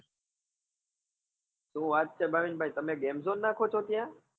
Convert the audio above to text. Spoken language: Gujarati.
શું વાત છે ભાવિન ભાઈ તમે game zone નાખો છો ત્યાં?